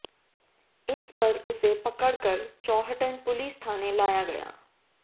इस पर उसे पकड़कर चौहटन पुलिस थाने लाया गया